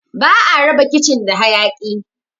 Ba'a raba kicin da hayaki